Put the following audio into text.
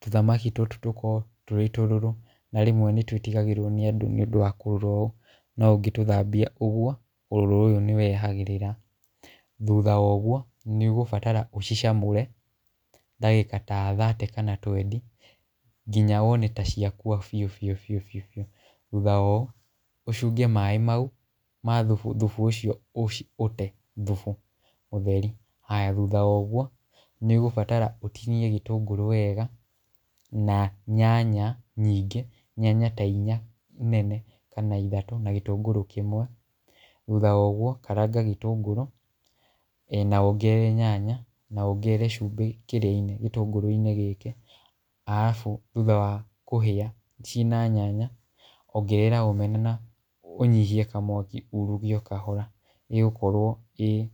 tũthamaki tũtũ tũkorwo twĩ tũrũrũ, na rĩmwe nĩ twĩtigagĩrwo nĩ andũ nĩ ũndũ wa kũrũra ũũ, no ũngĩtũthambia ũgwo, ũrũrũ ũyũ nĩ wehagĩrĩra, thutha wa ũgwo nĩ ũgũbatara ũcicamũre dagĩka ta thate kana ta twendi, nginya wone ta cia kũa biũ biũ biũ biũ, thutha wa ũũ ũcũnge maaĩ mau ma thũbũ , thubu ũcio ũte thubu mũtheri, haya thutha wa ũgwo , nĩ ũgũbatara ũtinie gĩtũngũrũ wega, na nyanya nyingĩ nyanya ta inya nene kana ithatũ, na gĩtũngũrũ kĩmwe, thutha wa ũgwo karanga gĩtũngũrũ, na wongerere nyanya, na wongerere cumbĩ kĩrĩa-inĩ gĩtũngũrũ-inĩ gĩkĩ , arabu thutha wa kũhĩa cina nyanya, ongerera Omena na ũnyĩhie kamwaki uruge o kahora ĩgũkorwo ĩ.